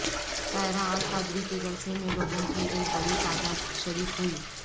طاہر القادری کے جلسے میں لوگوں کی ایک بڑی تعداد شریک ہوئی